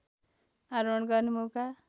आरोहण गर्ने मौका